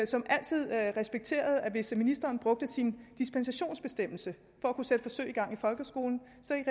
som altid respekterede at hvis ministeren brugte sin dispensationsbestemmelse for at kunne sætte forsøg i gang i folkeskolen